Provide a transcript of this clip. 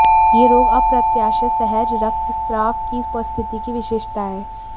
यह रोग अप्रत्याशित सहज रक्तस्राव की उपस्थिति की विशेषता है